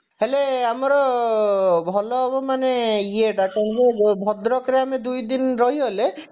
ହେଲେ ଆମର ଭଲ ହବ ମାନେ ଇଏ ଟା କଣ ନା ଭଦ୍ରକରେ ଆମେ ଦୁଇଦିନ ରହିଗଲେ